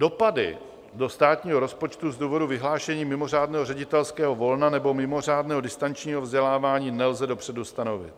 Dopady do státního rozpočtu z důvodu vyhlášení mimořádného ředitelského volna nebo mimořádného distančního vzdělávání nelze dopředu stanovit.